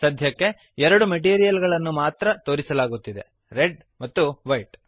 ಸಧ್ಯಕ್ಕೆ ಎರಡು ಮೆಟೀರಿಯಲ್ ಗಳನ್ನು ಮಾತ್ರ ತೋರಿಸಲಾಗುತ್ತಿದೆ ರೆಡ್ ಮತ್ತು ವೈಟ್